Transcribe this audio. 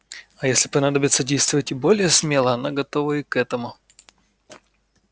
а если понадобится действовать более смело она готова и к этому